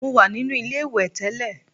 Mo wà nínú ilé-ìwẹ̀ tẹ́lẹ̀